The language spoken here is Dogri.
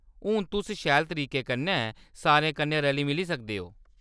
हून तुस शैल तरीके कन्नै सारें कन्नै रली-मिली सकदे ओ।